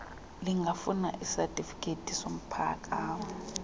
lingafuna isatifikethi somphakamo